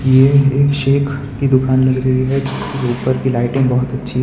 यह एक शेक की दुकान लग रही है जिसके ऊपर की लाइटिंग बहुत अच्छी है।